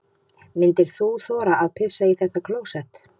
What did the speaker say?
Myndir þú þora að pissa í þetta klósett?